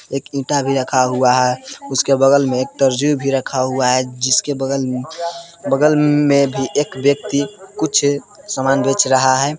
एक ईटा भी रखा हुआ है। उसके बगल में एक तरजू भी रखा हुआ है। जिसके बगल म बगल में भी एक व्यक्ति कुछ समान बेच रहा है।